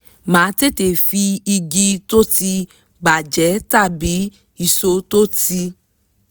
máa tètè fi igi tó ti bà jẹ́ tàbí ìṣó tó ti